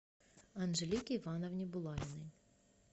анжелике ивановне булавиной